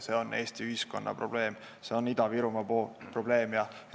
See on Eesti ühiskonna probleem, see on Ida-Virumaa probleem.